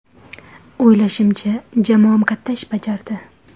O‘ylashimcha, jamoam katta ish bajardi.